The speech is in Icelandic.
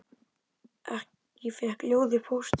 Ég fékk ljóð í pósti.